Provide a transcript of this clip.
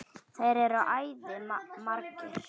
Þeir eru æði margir.